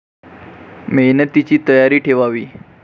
मेहनतीची तयारी ठेवावी.